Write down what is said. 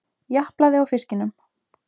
Japlaði á fiskinum.